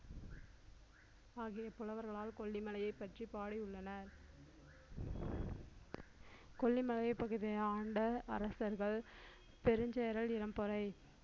ஆகிய புலவர்களால் கொல்லிமலையை பற்றி பாடியுள்ளனர் கொல்லிமலை பகுதியை ஆண்ட அரசர்கள் பெருஞ்சேரல் இரும்பொறை